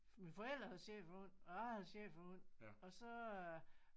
Mine forældre havde schæferhund og jeg havde schæferhund og så øh